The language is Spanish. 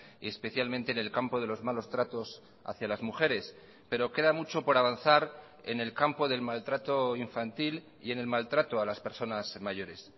y especialmente en el campo de los malos tratos hacia las mujeres pero queda mucho por avanzar en el campo del maltrato infantil y en el maltrato a las personas mayores